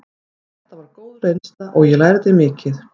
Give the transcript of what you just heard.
Þetta var góð reynsla og ég lærði mikið.